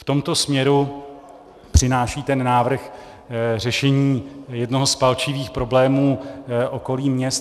V tomto směru přináší ten návrh řešení jednoho z palčivých problémů okolí měst.